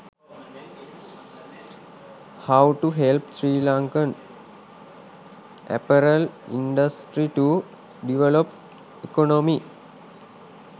how to help sri lankan apparel industry to develop economy